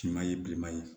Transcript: Finman ye bilenman ye